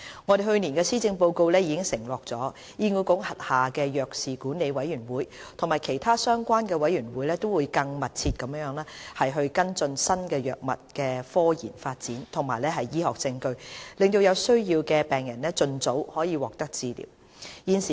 我們在去年的施政報告已承諾，醫管局轄下的藥事管理委員會及其他相關委員會會更密切地跟進新藥物的科研發展和醫學實證，讓有需要的病人盡早獲得治療。